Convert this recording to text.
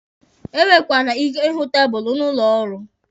E nwekwara ike ịhụ tabụlụ n'ụlọ ọrụ.